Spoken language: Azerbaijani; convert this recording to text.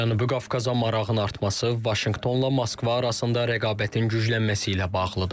Cənubi Qafqaza marağın artması Vaşinqtonla Moskva arasında rəqabətin güclənməsi ilə bağlıdır.